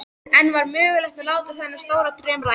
En var mögulegt að láta þennan stóra draum rætast?